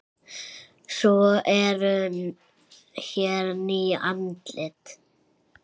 Svo eru hér ný andlit.